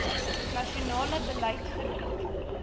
nasionale beleid verbied